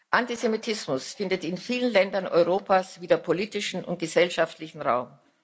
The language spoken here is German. Antisemitismus findet in vielen Ländern Europas wieder politischen und gesellschaftlichen Raum.